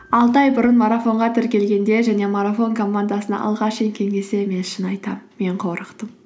алты ай бұрын марафонға тіркелгенде және марафон командасына алғаш мен шын айтамын мен қорықтым